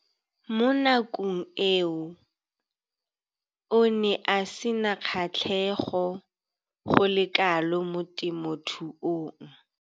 Mo nakong eo o ne a sena kgatlhego go le kalo mo temothuong.